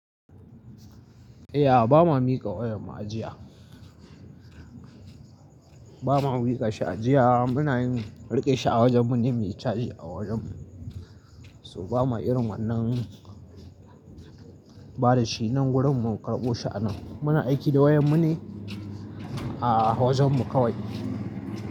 Eh a ba ma mika wayan mu ajiya. Ba ma mika shi ajiya. Muna yin riƙe shi a wajen mu ne muyi caji a wajen mu. So ba ma irin wannan bada shi nan wurin mu karɓo shi hanan. Muna aiki da wayan mu ne a wajen mu kawai.